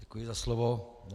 Děkuji za slovo.